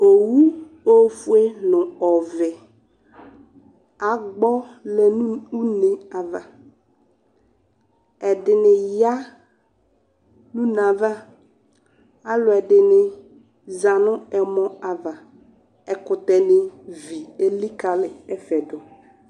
Owu ofue nʋ ɔvɛ agbɔ lɛ nʋ une ava Ɛdini ya nʋ une ava, alʋ ɛdini zanʋ ɛmɔ ava, ɛkʋtɛni vi elikali ɛfɛ dʋ